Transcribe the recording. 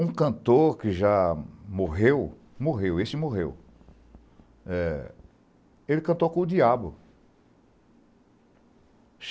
Um cantor que já morreu – esse morreu – cantou com o Diabo.